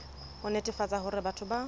ho netefatsa hore batho ba